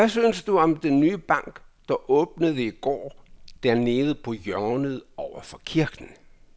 Hvad synes du om den nye bank, der åbnede i går dernede på hjørnet over for kirken?